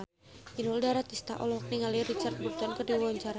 Inul Daratista olohok ningali Richard Burton keur diwawancara